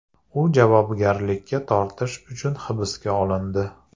U javobgarlikka tortish uchun hibsga olindi.